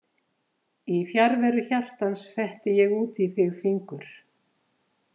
Í fjarveru hjartans fetti ég út í þig fingur